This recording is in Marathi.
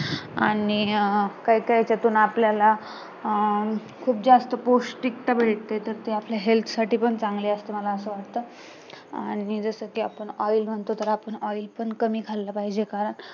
आणि अं काय काई याच्यातून आपल्याला अं खूप जास्त पौष्टिकता मिळते तर ते आपल्या health साठी पण चांगलं असतं असं मला वाटतं आणि जसं कि आपण आडी म्हणतो तर आपण आडी पण कमी खाल्लं पाहिजे कारण